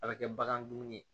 A bɛ kɛ bagan dumuni ye